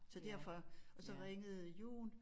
Så derfor og så ringede Jon